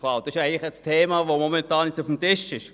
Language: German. Das ist auch das Thema, das momentan auf dem Tisch ist.